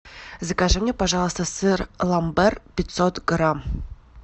закажи мне пожалуйста сыр ламбер пятьсот грамм